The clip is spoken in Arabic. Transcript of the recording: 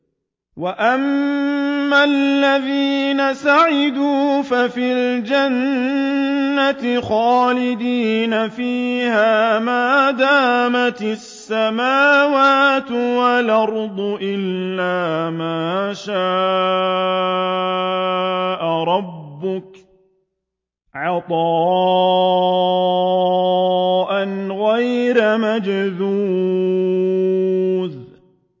۞ وَأَمَّا الَّذِينَ سُعِدُوا فَفِي الْجَنَّةِ خَالِدِينَ فِيهَا مَا دَامَتِ السَّمَاوَاتُ وَالْأَرْضُ إِلَّا مَا شَاءَ رَبُّكَ ۖ عَطَاءً غَيْرَ مَجْذُوذٍ